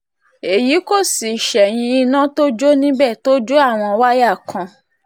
èyí kò sì ṣẹ̀yìn iná tó jó níbẹ̀ tó jó àwọn wáyà kan